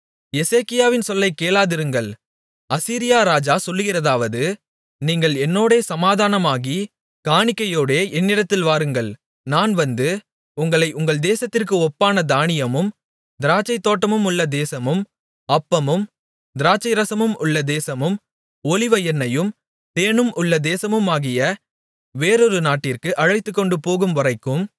எசேக்கியாவின் சொல்லைக் கேளாதிருங்கள் அசீரியா ராஜா சொல்லுகிறதாவது நீங்கள் என்னோடே சமாதானமாகி காணிக்கையோடே என்னிடத்தில் வாருங்கள் நான் வந்து உங்களை உங்கள் தேசத்திற்கு ஒப்பான தானியமும் திராட்சைத்தோட்டமுமுள்ள தேசமும் அப்பமும் திராட்சைரசமும் உள்ள தேசமும் ஒலிவ எண்ணெயும் தேனும் உள்ள தேசமுமாகிய வேறொரு நாட்டிற்கு அழைத்துக்கொண்டுபோகும் வரைக்கும்